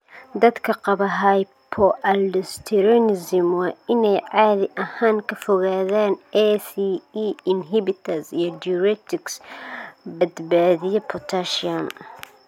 Dadka qaba hypoaldosteronism waa inay caadi ahaan ka fogaadaan ACE inhibitors iyo diuretics badbaadiya potassium.